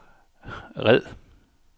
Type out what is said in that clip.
red